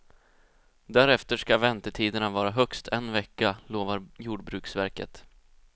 Därefter ska väntetiderna vara högst en vecka, lovar jordbruksverket.